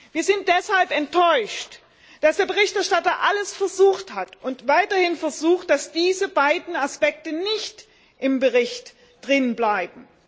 Wir sind deshalb enttäuscht, dass der Berichterstatter alles versucht hat und weiterhin versucht, dass diese beiden Aspekte nicht im Bericht bleiben.